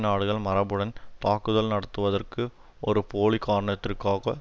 நாடுகள் மரபுடன் தாக்குதல் நடத்துவதற்கு ஒரு போலி காரணத்திற்காக